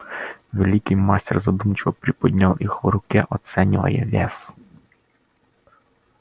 великий мастер задумчиво приподнял их в руке оценивая вес